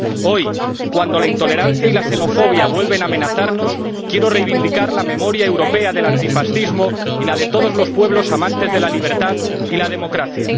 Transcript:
Hoy, cuando la intolerancia y la xenofobia vuelven a amenazarnos, quiero reivindicar la memoria europea del antifascismo y la de todos los pueblos amantes de la libertad y la democracia.